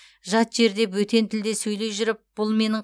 жат жерде бөтен тілде сөйлей жүріп бұл менің